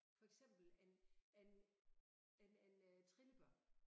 For eksempel en en en en øh trillebør